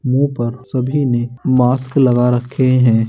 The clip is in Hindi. मुँह पर सभी ने मास्क लगा रखे हैं।